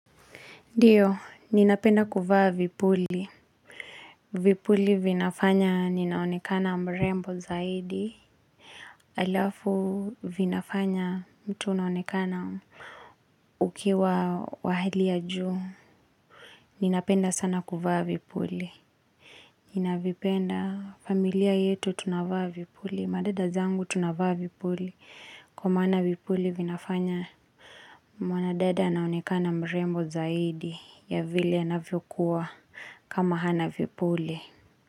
Ndiyo, ninapenda kuvaa vipuli. Vipuli vinafanya ninaonekana mrembo zaidi. Alafu vinafanya mtu unaonekana ukiwa wa hali ya juu. Ninapenda sana kuvaa vipuli. Ninavipenda familia yetu tunavaa vipuli. Madada zangu tunavaa vipuli. Kwa maana vipuli vinafanya mwanadada anaonekana mrembo zaidi. Ya vile anavyo kuwa. Kama hana vipuli.